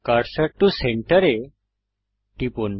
cursor টো centre এ টিপুন